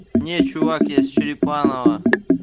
не чувак я с черепаново